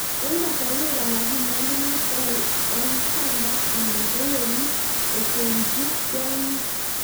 Eng kasarwek alaak kinyalunot eng kwandaa anan ko werit kochengchii kwonyiik